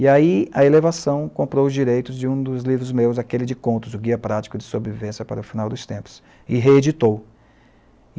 E aí a Elevação comprou os direitos de um dos livros meus, aquele de contos, o Guia Prático de Sobrevivência para o Final dos Tempos, e reeditou.